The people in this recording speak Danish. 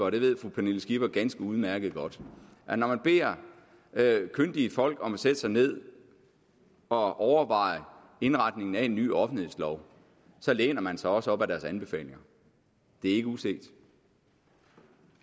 og det ved fru pernille skipper ganske udmærket godt at når man beder kyndige folk om at sætte sig ned og overveje indretningen af en ny offentlighedslov læner man sig også op ad deres anbefalinger det er ikke uset